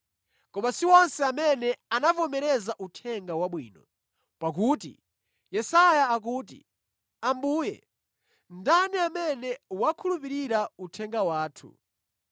Koma si onse amene anavomereza Uthenga Wabwino. Pakuti Yesaya akuti, “Ambuye, ndani amene wakhulupirira uthenga wathu?”